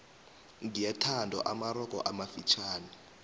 gyathandwa amarogo amafitjhani